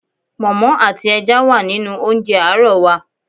Pọ̀nmọ́ àti ẹja wà nínú oúnjẹ àárọ̀ wa.